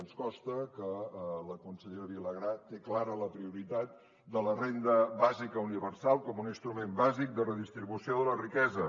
ens consta que la consellera vilagrà té clara la prioritat de la renda bàsica universal com un instrument bàsic de redistribució de la riquesa